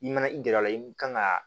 I mana i gɛrɛ a la i kan ka